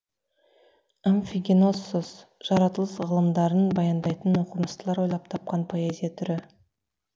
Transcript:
амфигеноссос жаратылыс ғылымдарын баяндайтын оқымыстылар ойлап тапқан поэзия түрі